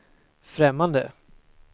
främmande